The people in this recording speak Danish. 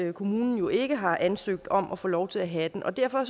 at kommunen jo ikke har ansøgt om at få lov til at have den og derfor